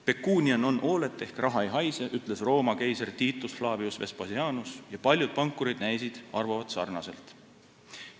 "Pecunia non olet" ehk "Raha ei haise," ütles Rooma keiser Titus Flavius Vespasianus ja paljud pankurid näisid arvavat sarnaselt.